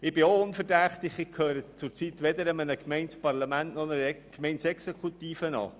Ich bin auch unverdächtig, denn ich gehöre zurzeit weder einem Gemeindeparlament noch einer Gemeindeexekutive an.